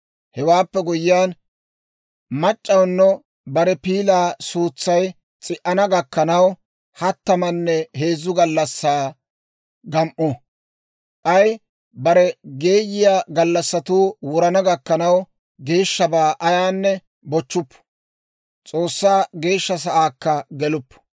Hewaappe guyyiyaan, mac'c'awunna bare piilaa suutsay s'i"ana gakkanaw, hattamanne heezzu gallassaa gam"u; k'ay bare geeyiyaa gallassatuu wurana gakkanaw, geeshshabaa ayaanne bochchuppu; S'oossaa Geeshsha Sa'aakka geluppu.